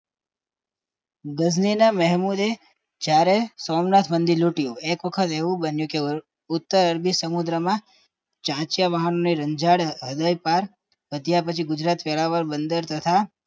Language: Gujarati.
દીધા મોહમ્મદે જયારે સોમનાથ મંદિર લૂંટાયું એક વખત એવું બન્યું કે ઉત્તર અરબી સમુદ્રમાં ચાંચયવળ અને રંજન હૃદય પાર પછી ગુજરાતી વેરાવર બંદર તથા